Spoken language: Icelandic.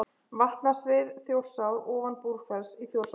Vatnasvið Þjórsár ofan Búrfells í Þjórsárdal.